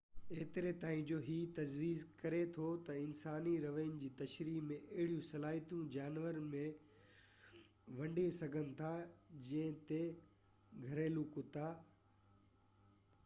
ايتري تائين جو هي تجويز ڪري ٿو ته انساني رويي جي تشريح ۾ اهڙيون صلاحيتون جانور به ونڍي سگهن ٿا جيئن ته گهريلو ڪتا